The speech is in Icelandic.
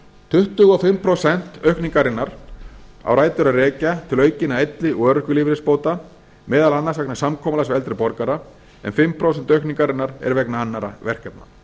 tuttugu og fimm prósent aukningarinnar á rætur að rekja til aukinna elli og örorkulífeyrisbóta meðal annars vegna samkomulags við eldri borgara en fimm prósent aukningarinnar eru vegna annarra verkefna